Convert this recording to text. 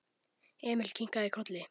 Emil kinkaði kolli.